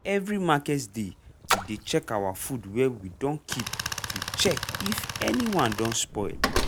every market day we dey check our food wey we dun keep to check if anyone don spoil.